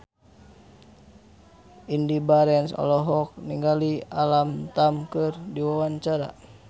Indy Barens olohok ningali Alam Tam keur diwawancara